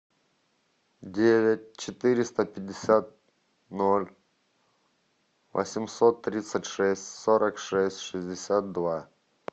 девять четыреста пятьдесят ноль восемьсот тридцать шесть сорок шесть шестьдесят два